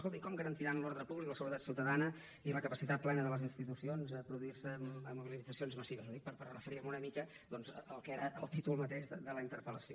escolti com garantiran l’ordre públic la seguretat ciutadana i la capacitat plena de les institucions si es produeixen mobilitzacions massives ho dic per referir me una mica doncs al que era el títol mateix de la interpel·lació